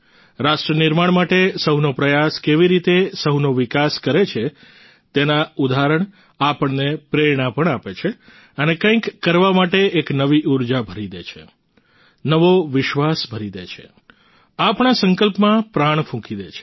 રાષ્ટ્ર નિર્માણ માટે સહુનો પ્રયાસ કેવી રીતે સહુનો વિકાસ કરે છે તેના ઉદાહરણ આપણને પ્રેરણા પણ આપે છે અને કંઈક કરવા માટે એક નવી ઉર્જા ભરી દે છે નવો વિશ્વાસ ભરી દે છે આપણા સંકલ્પમાં પ્રાણ ફૂંકી દે છે